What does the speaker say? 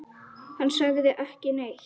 Hann sagði ekki neitt.